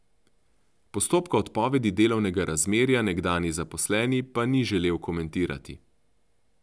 Postopka odpovedi delovnega razmerja nekdanji zaposleni pa ni želel komentirati.